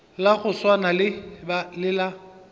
la go swana le la